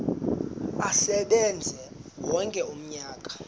asebenze wonke umnyaka